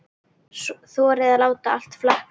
Þorði að láta allt flakka.